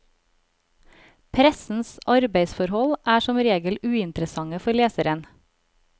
Pressens arbeidsforhold er som regel uinteressante for leseren.